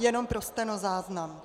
Jenom pro stenozáznam.